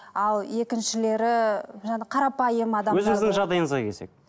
ал екіншілері жаңа қарапайым